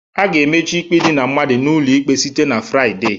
A ga-emechi ikpe idina mmadụ n'ụlọ ikpe site na Fraịde